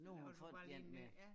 Laver du bare lige en ny ja